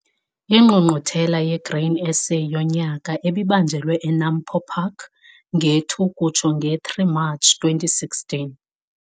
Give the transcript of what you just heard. INgqungquthela yeGrain SA yonyaka ebibanjelwe eNAMPO Park nge-2-3 Matshi 2016.